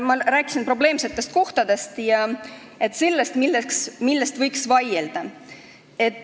Ma rääkisin probleemsetest kohtadest ja sellest, mille üle võiks vaielda.